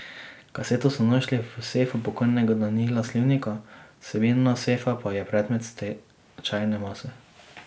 Kaseto so našli v sefu pokojnega Danila Slivnika, vsebina sefa pa je predmet stečajne mase.